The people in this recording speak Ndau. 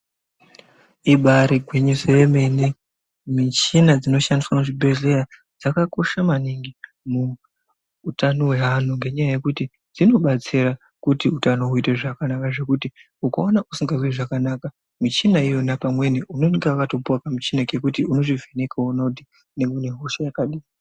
Ibari gwinyiso remene, michina inoshandiswa muzvibhehleya dzakakosha maningi muutano hweanhu, ngenyaya yekuti dzinobatsira kuti utano huite zvakanaka, zvekuti ukaona usikazwi zvakanaka michina iyona pamweni, unenge wakatopiwa kamuchina kekuti unozvivheneka woona kuti nyangwe nehosha yakadini.